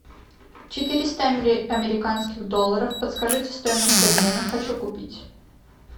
четыреста американских долларов подскажите стоимость обмена хочу купить